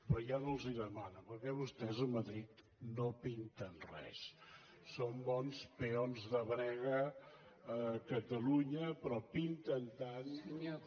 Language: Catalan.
però ja no els ho demano perquè vostès a madrid no pinten res són bons peons de brega a catalunya però pinten tant com